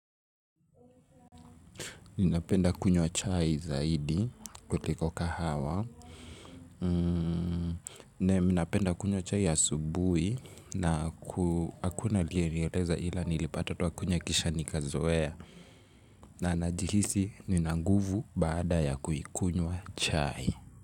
Ninapenda kunywa chai zaidi kuliko kahawa. Nne, minapenda kunywa chai ya asubuhi na hakuna aliyeniyeleza ila nilipata tu wakunywa kisha nikazoea. Na najihisi, ninanguvu baada ya kuikunywa chai.